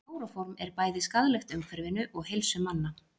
klóróform er bæði skaðlegt umhverfinu og heilsu manna